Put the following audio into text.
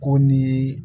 Ko ni